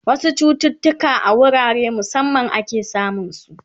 wasu chututuka a wurare musamman ake samun su